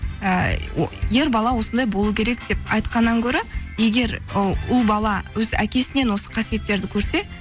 і о ер бала осындай болу керек деп айтқаннан гөрі егер ы ұл бала өз әкесінен осы қасиеттерді көрсе